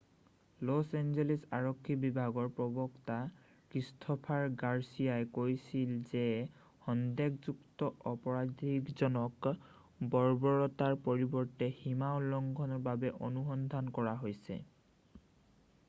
loss Angeles আৰক্ষী বিভাগৰ প্ৰৱক্তা ক্ৰিষ্টোফাৰ গাৰচিয়াই কৈছিল যে সন্দেহযুক্ত অপৰাধীজনক বৰ্বৰতাৰ পৰিবৰ্তে সীমা উলংঘনৰ বাবে অনুসন্ধান কৰা হৈছে